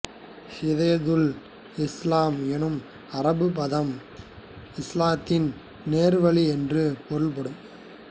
ஹிதாயதுல் இஸ்லாம் எனும் அரபுப் பதம் இஸ்லாத்தின் நேர்வழி என்று பொருள்படும்